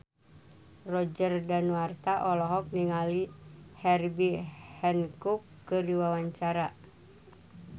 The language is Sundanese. Roger Danuarta olohok ningali Herbie Hancock keur diwawancara